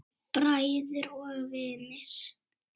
Bræður og vinir.